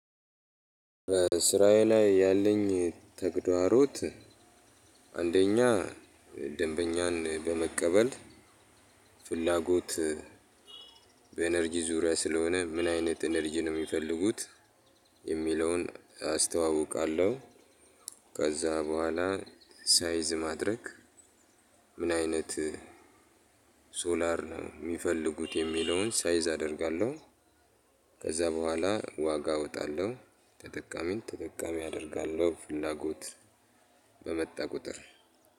በስራዬ ላይ ያለኝ ተግዳሮት። አንደኛ ደንበኛን በመቀበል ፍላጎት በኢነርጂ ዙሪያ ስለሆነ ምን አይነት ኢነርጅ ነው የሚፈልጉት? የሚለውን አስተዋውቃለሁ ከዛ በኋላ ሳይዝ ማድረግ። ምን አይነት ሶላር ነው የሚፈልጉት? የሚለውን ሳይዝ አደርጋለሁ። ከዛ በኋላ ዋጋ አወጣለሁ። ተጠቃሚን ተጠቃሚ አደርጋለሁ ፍላጎት በመጣ ቁጥር።